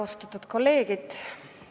Austatud kolleegid!